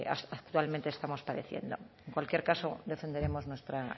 actualmente estamos padeciendo en cualquier caso defenderemos nuestra